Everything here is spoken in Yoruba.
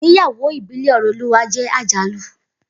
Igbeyawo ibile Oreoluwa je ajalu